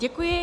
Děkuji.